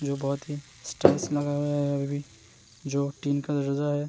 जो बहौत ही स्टाइल से लगा हुआ है अभी भी जो टीन है।